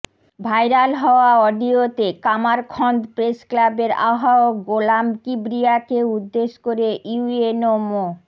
viral হওয়া অডিওতে Kamarkhanda press ক্লাবের আহ্বায়ক গোলাম কিবরিয়াকে উদ্দেশ করে ইউএনও মো